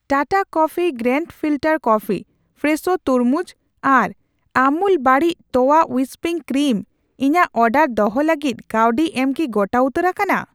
Tata coffee grand filter coffee, Fresho ᱛᱩᱨᱢᱩᱡ, ᱟᱨ ᱟᱢᱩᱞ ᱵᱟᱹᱲᱤᱡ ᱛᱚᱣᱟ ᱦᱩᱭᱤᱥᱯᱤᱝ ᱠᱨᱤᱢ ᱤᱧᱟᱜ ᱚᱰᱟᱨ ᱫᱚᱦᱚ ᱞᱟᱹᱜᱤᱫ ᱠᱟᱹᱣᱰᱤ ᱮᱢ ᱠᱤ ᱜᱚᱴᱟ ᱩᱛᱟᱹᱨ ᱟᱠᱟᱱᱟ ?